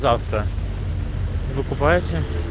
завтра вы купаете